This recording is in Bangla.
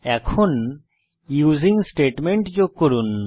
এখন ইউজিং স্টেটমেন্ট যোগ করুন